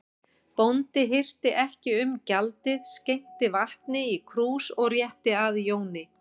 Bóndi hirti ekki um gjaldið, skenkti vatni í krús og rétti að Jóni.